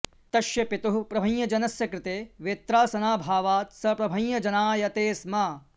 तस्य पितुः प्रभञ्जनस्य कृते वेत्रासनाभावात् स प्रभञ्जनायते स्म